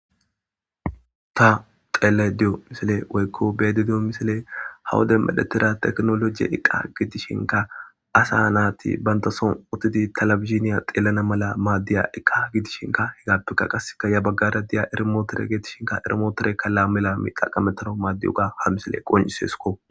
ta xeeleyda diyo misile woykko beeyayida diyo misile ha wode medhetida techinolgy iqqa gidishinkka asa naati banta son uttidi talabizhiniya xeelana mala maaddiya eka gidishinka he gattuka qasseka ya baggara diya ermootore geedishinka ermootorekka laami lami xaqametanaw maaddiyoga ha misiley qoncisesikko